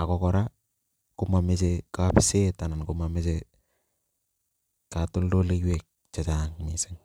ako kora komomoche katoltoleiwek chechang missing,